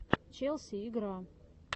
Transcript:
челси игра